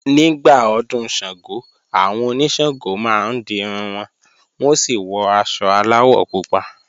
Nígbà Ọdún Ṣàngó, àwọn oníṣàngó máa ń dirun wọn, wọ́n ó sì wọ aṣọ aláwọ̀ pupa